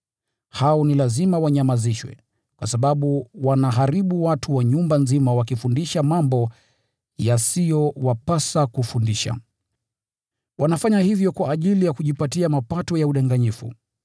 Hao ni lazima wanyamazishwe, kwa sababu wanaharibu watu wa nyumba nzima wakifundisha mambo yasiyowapasa kufundisha. Wanafanya hivyo kwa ajili ya kujipatia mapato ya udanganyifu.